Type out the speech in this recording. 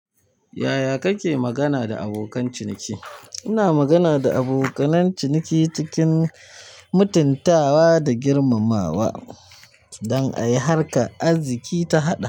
Yaya kake magana da abokan ciniki? Ina magana da abokanan ciniki cikin mutuntawa da girmamawa don ai harka arziki ta haɗa.